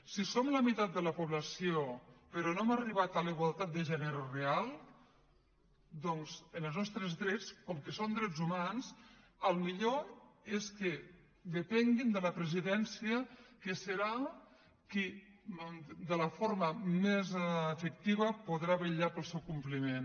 si som la meitat de la població però no hem arribat a la igualtat de gènere real doncs en els nostres drets com que són drets humans el millor és que depenguin de la presidència que serà qui de la forma més efectiva podrà vetllar pel seu compliment